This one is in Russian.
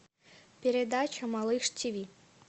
передача малыш ти ви